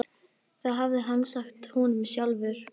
Það hafði hann sagt honum sjálfur.